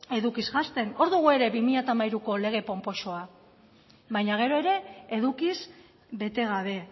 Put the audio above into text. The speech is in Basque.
edukiz janzten hor dugu ere bi mila hamairuko lege ponposoa baina gero ere edukiz bete gabe